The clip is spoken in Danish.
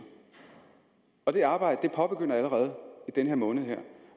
det arbejde påbegyndes allerede i den her måned